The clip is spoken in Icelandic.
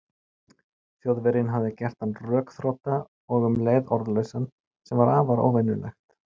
Þjóðverjinn hafði gert hann rökþrota og um leið orðlausan, sem var afar óvenjulegt.